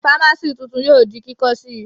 Fámásì tuntun yóò di kíkọ́ sí Ì